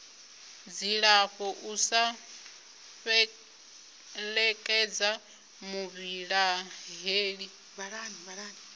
dzilafho u sa fhelekedza muvhilaheli